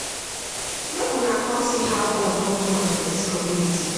Make una come see how God don do am for dis community